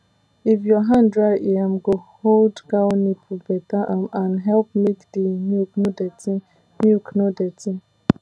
if your hand dry e um go hold cow nipple better um and help make the milk no dirty milk no dirty